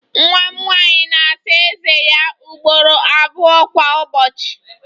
Nwa m nwanyị na-Asa Eze ya ugboro abụọ kwa ụbọchị